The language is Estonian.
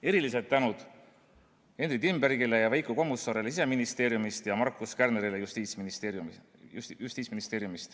Erilised tänud Henry Timbergile ja Veiko Kommusaarele Siseministeeriumist ja Markus Kärnerile Justiitsministeeriumist.